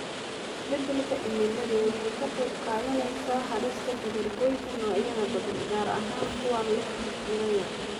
Isbeddelka cimiladu waxay ka qayb qaadanaysaa halista dabar goynta noocyo badan, gaar ahaan kuwa leh tiro yar.